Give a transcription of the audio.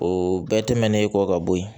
O bɛɛ tɛmɛnen kɔ ka bɔ yen